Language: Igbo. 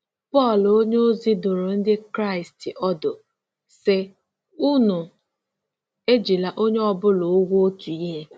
Pọl onyeozi dụrụ Ndị Kraịst ọdụ, sị: “Unu ejila onye ọ bụla ụgwọ otu ihe.”